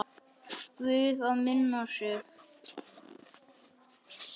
Guð að minna á sig.